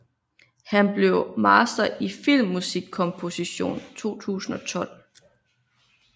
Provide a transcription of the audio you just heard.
Han blev master i filmmusikkomposition 2012